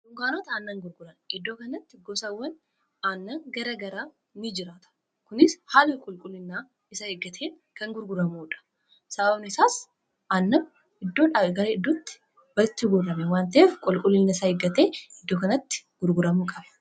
Dunkaanonni aannan gurguran iddoo kanatti gosawwan aannan garaa garaa ni jiraata. Kunis haala qulqullina isaa eggateen kan gurguramuudha. Sababni isaas aannan iddoodhaa gara iddootti walitti guurrame waan ta'eef qulquullina isaa eeggatee iddoo kanatti gurguramuu qaba.